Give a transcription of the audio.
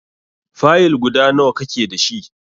Fayil guda nawa ka ke dashi?